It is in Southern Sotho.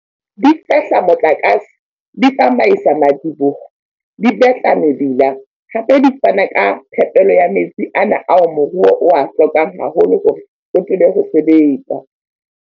Di fehla motlakase, di tsamaisa madiboho, di betla mebila, hape di fana ka phepelo ya metsi ana ao moruo o a hlokang haholo hore o tsebe ho sebetsa.